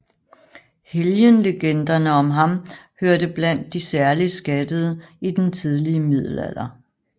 Helgenlegender om ham hørte blandt de særligt skattede i den tidlige middelalder